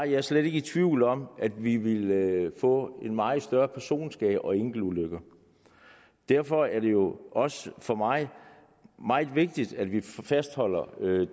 jeg slet ikke i tvivl om at vi ville få meget større personskade og flere enkeltulykker derfor er det jo også for mig meget vigtigt at vi fastholder